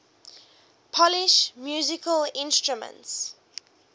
polish musical instruments